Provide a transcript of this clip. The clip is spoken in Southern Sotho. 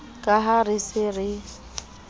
ka ha re se re